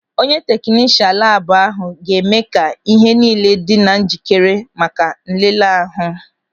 Onye teknishan labu ahụ ga-eme ka ihe niile dị na njikere maka nlele ahụ.